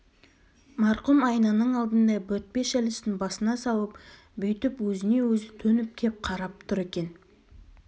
марқұм айнаның алдында бөртпе шәлісін басына салып бүйтіп өзіне-өзі төніп кеп қарап тұр екен